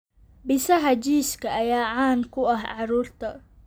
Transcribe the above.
Bisaha jiiska ayaa caan ku ah carruurta.